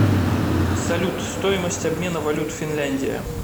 салют стоимость обмена валют финляндия